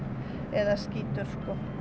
eða skítur